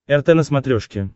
рт на смотрешке